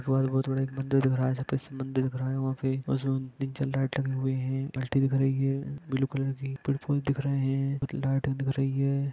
बहुत बड़े मंदिर दिख रहा है जहां पर मंदिर खड़ा है वहां पे लाइट टंगे हुए है ब्लू कलर की दिख रहे है लाईटे दिख रहे है |